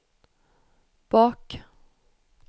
bak